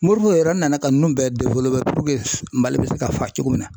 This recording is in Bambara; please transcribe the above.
Moribo yɛrɛ nana ninnu bɛɛ MALI bɛ se ka fa cogo min na.